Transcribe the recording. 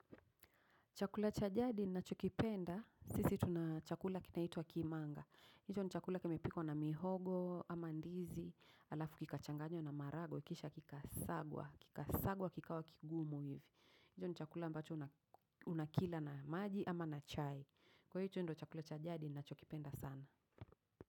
Chakula cha jadi ninacho kipenda, sisi tuna chakula kinaitwa kimanga. Hicho ni chakula kimepikwa na mihogo, ama ndizi, alafu kikachanganywa na maharagwe, ikisha kikasagwa, kikasagwa kikawa kigumu hivi. Hicho ni chakula ambacho unakila na maji ama na chai. Kwa hicho ndio chakula cha jadi ninacho kipenda sana.